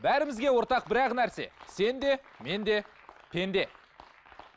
бәрімізге ортақ бір ақ нәрсе сен де мен де пенде